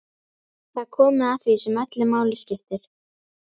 Það er komið að því sem öllu máli skiptir.